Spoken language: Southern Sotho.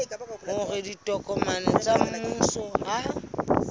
hore ditokomane tsa mmuso ha